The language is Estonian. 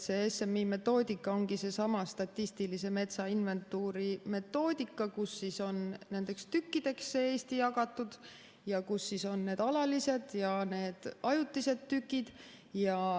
See SMI metoodika ongi seesama statistilise metsainventuuri metoodika, kus Eesti on jagatud tükkideks ja kus on need alalised ja ajutised tükid.